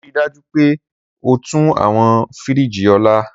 Rii daju pe o tun awọn firiji ọla!